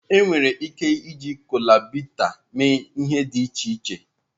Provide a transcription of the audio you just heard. Enwere ike iji kola bitter mee ihe dị iche iche.